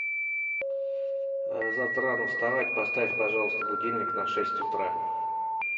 завтра рано вставать поставь пожалуйста будильник на шесть утра